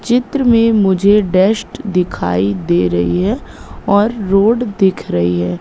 चित्र में मुझे डस्ट दिखाई दे रही है और रोड दिख रही है।